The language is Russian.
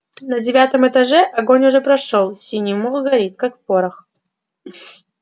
на девятом этаже огонь уже прошёл синий мох горит как порох